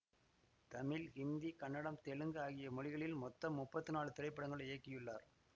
தமிழ் ஹிந்தி கன்னடம் தெலுங்கு ஆகிய மொழிகளில் மொத்தம் முப்பத்தி நாலு திரைப்படங்கள் இயக்கியுள்ளார்